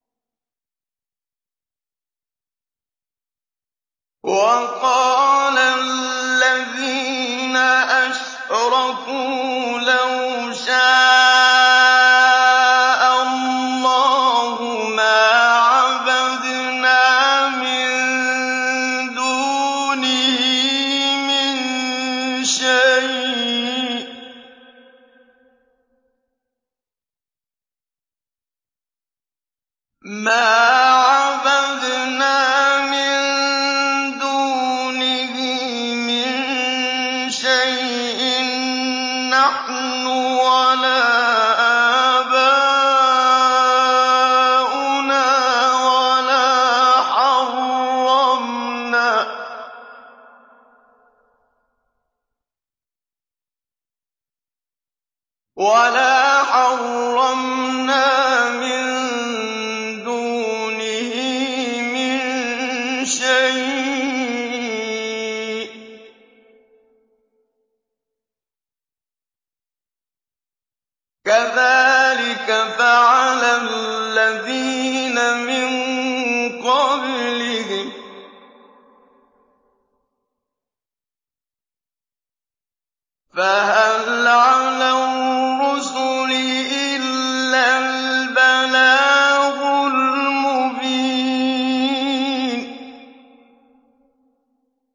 وَقَالَ الَّذِينَ أَشْرَكُوا لَوْ شَاءَ اللَّهُ مَا عَبَدْنَا مِن دُونِهِ مِن شَيْءٍ نَّحْنُ وَلَا آبَاؤُنَا وَلَا حَرَّمْنَا مِن دُونِهِ مِن شَيْءٍ ۚ كَذَٰلِكَ فَعَلَ الَّذِينَ مِن قَبْلِهِمْ ۚ فَهَلْ عَلَى الرُّسُلِ إِلَّا الْبَلَاغُ الْمُبِينُ